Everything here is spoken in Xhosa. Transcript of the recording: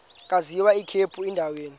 agwaz ikhephu endaweni